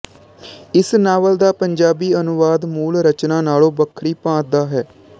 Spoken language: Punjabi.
ਇਸ ਨਾਵਲ ਦਾ ਪੰਜਾਬੀ ਅਨੁਵਾਦ ਮੂਲ ਰਚਨਾ ਨਾਲ਼ੋਂ ਵੱਖਰੀ ਭਾਤ ਦਾ ਹੈ